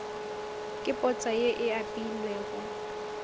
ke potsa ye e apeilwego